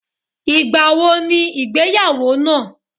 igba wo ni igbeyawo naa